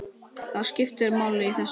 Það skiptir máli í þessu.